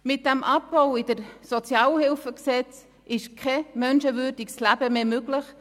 Mit diesem Abbau im SHG ist kein menschenwürdiges Leben mehr möglich.